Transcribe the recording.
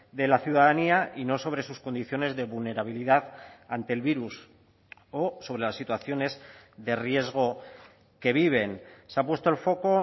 de la ciudadanía y no sobre sus condiciones de vulnerabilidad ante el virus o sobre las situaciones de riesgo que viven se ha puesto el foco